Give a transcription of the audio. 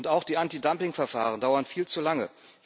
Auch die Antidumping Verfahren dauern viel zu lange.